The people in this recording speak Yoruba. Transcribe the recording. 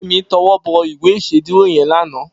Femi tòwòbò ìwé ìṣédùró yèn lànã